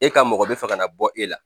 E ka mɔgɔ bɛ fɛ ka na bɔ e la